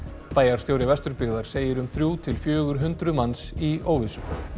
bæjarstjóri Vesturbyggðar segir um þrjú til fjögur hundruð manns í óvissu